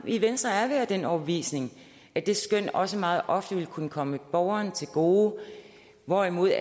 i venstre er vi af den overbevisning at det skøn også meget ofte vil kunne komme borgeren til gode hvorimod